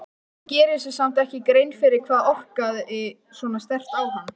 Hann gerir sér samt ekki grein fyrir hvað orkaði svona sterkt á hann.